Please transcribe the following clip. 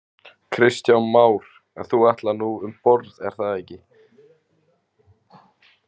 Kristján Már: En þú ætlar nú um borð er það ekki?